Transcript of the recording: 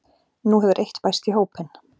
Nú hefur eitt bæst í hópinn